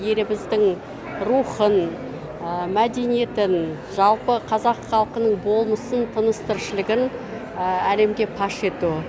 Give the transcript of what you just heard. еліміздің рухын мәдениетін жалпы қазақ халқының болмысын тыныс тіршілігін әлемге паш ету